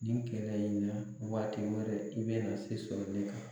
Nin kɛlɛ in na waati wɛrɛ i bɛna se sɔrɔ ne kan.